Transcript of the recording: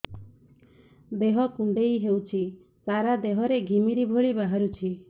ଦେହ କୁଣ୍ଡେଇ ହେଉଛି ସାରା ଦେହ ରେ ଘିମିରି ଭଳି ବାହାରୁଛି